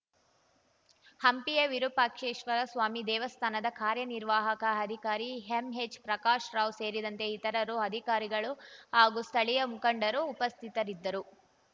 ಹಂಪಿಯ ವಿರೂಪಾಕ್ಷೇಶ್ವರಸ್ವಾಮಿ ದೇವಸ್ಥಾನದ ಕಾರ್ಯನಿರ್ವಾಹಕ ಅಧಿಕಾರಿ ಎಂಎಚ್‌ ಪ್ರಕಾಶ್ ರಾವ್‌ ಸೇರಿದಂತೆ ಇತರರು ಅಧಿಕಾರಿಗಳು ಹಾಗೂ ಸ್ಥಳೀಯ ಮುಖಂಡರು ಉಪಸ್ಥಿತರಿದ್ದರು